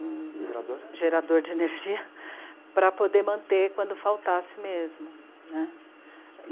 Um gerador. Gerador de energia para poder manter quando faltasse mesmo.